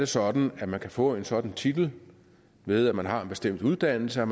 sådan at man kan få en sådan titel ved at man har en bestemt uddannelse og